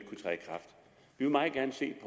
vil meget gerne se